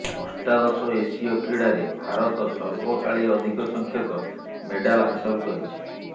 ଅଷ୍ଟାଦଶ ଏସୀୟ କ୍ରିଡାରେ ଭାରତ ସର୍ବକାଳୀ ଅଧିକ ସଂଖ୍ୟକ ମେଡାଲ ହାସଲ କରିଛି